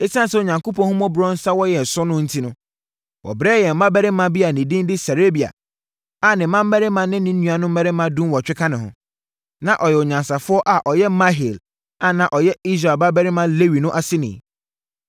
Esiane sɛ Onyankopɔn ahummɔborɔ nsa wɔ yɛn so no enti, wɔbrɛɛ yɛn ɔbarima bi a ne din de Serebia, a ne mmammarima ne ne nuammarimanom dunwɔtwe ka ne ho. Na ɔyɛ onyansafoɔ a ɔyɛ Mahli a na ɔyɛ Israel babarima Lewi no aseni.